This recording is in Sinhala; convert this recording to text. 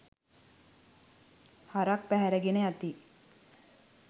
හරක් පැහැර ගෙන යති